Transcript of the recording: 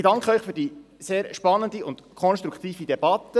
Ich danke Ihnen für die sehr spannende und konstruktive Debatte.